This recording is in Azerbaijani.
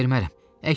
Sizə ələ vermərəm.